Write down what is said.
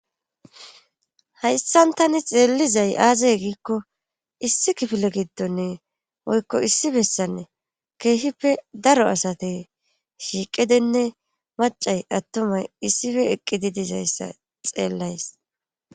Hayssan tani xeellizay aazay giikko issi kifile giddonne oykko issi bessanne keehippe daro asate shiiqidenne macay attumay issife eqqidi dizayssa xeellays.